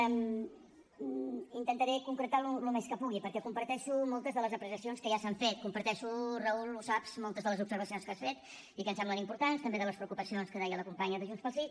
intentaré concretar el més que pugui perquè comparteixo moltes de les aprecia cions que ja s’han fet comparteixo raúl ho saps moltes de les observacions que has fet i que em semblen importants també de les preocupacions que deia la companya de junts pel sí